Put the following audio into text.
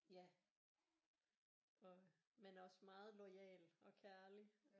Ja men også meget loyal og kærlig